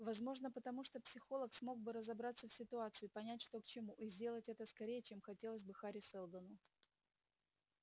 возможно потому что психолог смог бы разобраться в ситуации понять что к чему и сделать это скорее чем хотелось бы хари сэлдону